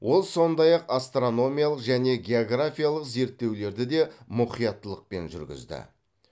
ол сондай ақ астрономиялық және географиялық зерттеулерді де мұқияттылықпен жүргізді